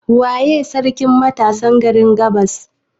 Waye sarkin matasan garin gabas?